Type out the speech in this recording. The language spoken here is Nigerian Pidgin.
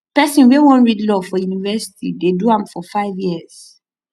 pesin wey wan read law for university dey do am for five years